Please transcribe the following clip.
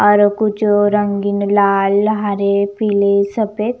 और कुछ रंगीन लाल हरे पीले सफेद--